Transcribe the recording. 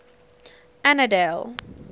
annandale